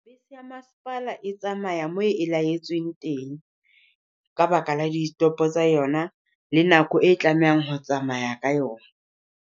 Bese ya masepala e tsamaya moo e laetsweng teng. Ka baka la ditopo tsa yona, le nako e tlamehang ho tsamaya ka yona.